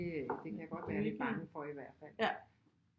Det det kan jeg godt være lidt bange for i hvert fald